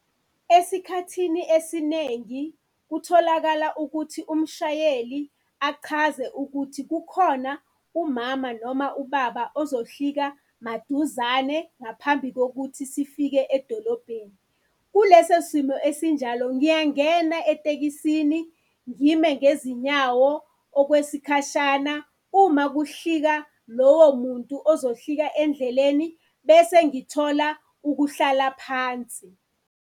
Esikhathini esinengi kutholakala ukuthi umshayeli achaze ukuthi kukhona umama noma ubaba ozohlika maduzane ngaphambi kokuthi sifike edolobheni. Kuleso simo esinjalo ngiyangena etekisini, ngime ngezinyawo okwesikhashana, uma ukuhlika lowo muntu ozohlika endleleni bese ngithola ukuhlala phansi.